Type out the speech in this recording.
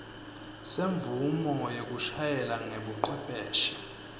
semvumo yekushayela ngebucwepheshe